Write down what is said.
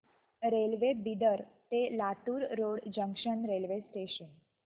railway Bidar ते Latur road junction railway station